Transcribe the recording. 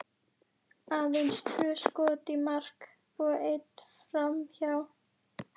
Aðeins tvö skot í mark og eitt framhjá.